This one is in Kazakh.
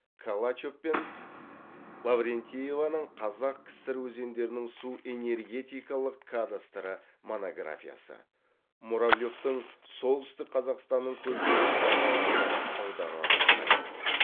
калачев пен лаврентееваның қазақ кср өзендерінің су энергетикалық кадастры монографиясы муравлевтың солтүстік қазақстанның көлдері кітабы назар аударарлықтай